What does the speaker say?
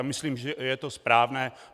A myslím, že je to správné.